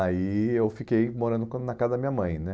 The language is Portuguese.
Aí eu fiquei morando com na casa da minha mãe, né?